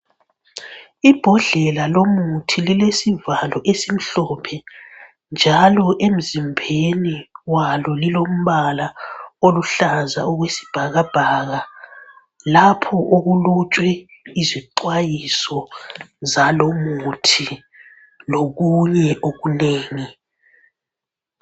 Ibhodlela lomuthi lilesivalo esimhlophe njalo emzimbeni walo lilombala oluhlaza okwesibhakabhaka lapho okulotshwe izixwayiso zalomuthi lokunye okunengi